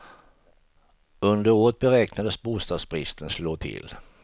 Under året beräknas bostadsbristen slå till.